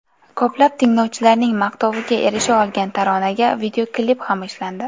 Ko‘plab tinglovchilarning maqtoviga erisha olgan taronaga videoklip ham ishlandi.